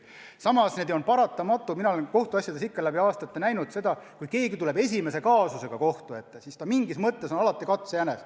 Samas on paratamatu, ka mina olen kohtuasjades seda läbi aastate näinud, et kui keegi tuleb sisult uudse kaasusega kohtu ette, siis ta mingis mõttes on alati katsejänes.